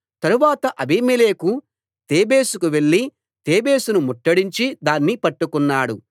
తరువాత అబీమెలెకు తేబేసుకు వెళ్లి తేబేసును ముట్టడించి దాన్ని పట్టుకున్నాడు